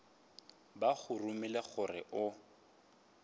ba go romile gore o